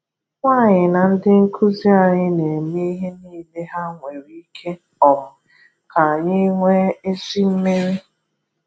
Nwaanyị na ndị nkuzi anyị na-eme ihe niile ha nwere ike um ka anyi nwee ezi mmeri.